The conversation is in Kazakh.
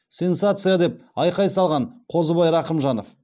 сенсация а а а деп айқай салған қозыбай рақымжанов